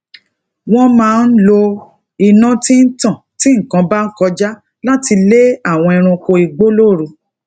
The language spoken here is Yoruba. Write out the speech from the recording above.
wón máa ń lo iná tí ń tan ti nnkan bakoja lati le àwọn ẹranko igbo lóru